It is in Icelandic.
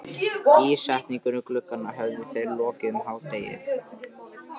Ísetningu glugganna höfðu þeir lokið um hádegið.